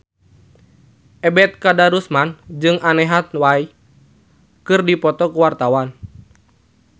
Ebet Kadarusman jeung Anne Hathaway keur dipoto ku wartawan